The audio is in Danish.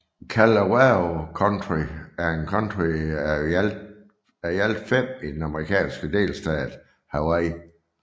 Kalawao County er et county af i alt fem i den amerikanske delstat Hawaii